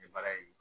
N ye baara ye